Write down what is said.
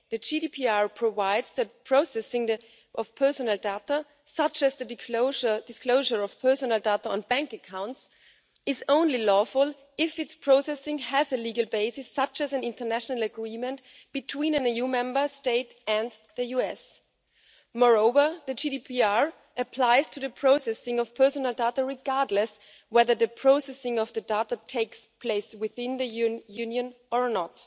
The GDPR provides that processing of personal data, such as the disclosure of personal data on bank accounts, is only lawful if its processing has a legal basis such as an international agreement between an EU Member State and the US. Moreover, the GDPR applies to the processing of personal data regardless of whether the processing of the data takes place within the European Union or not.